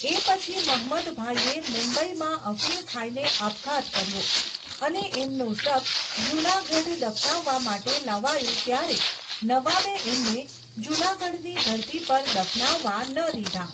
એ પછી મહમદભાઈએ મુંબઈમાં અફિણ ખાઈને આપઘાત કર્યો, અને એમનું શબ જૂનાગઢ દફનાવવા માટે લવાયું ત્યારે, નવાબે એમને જૂનાગઢની ધરતી પર દફનાવવા ન દીધા.